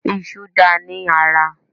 Ìṣù dáa ní ara